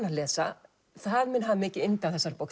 að lesa það mun hafa mikið yndi af þessari bók